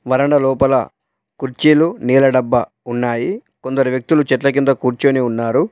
వరండా లోపల కుర్చీలు నీళ్ల డబ్బా ఉన్నాయి. కొందరు వ్యక్తులు చెట్ల కింద కూర్చొని ఉన్నారు.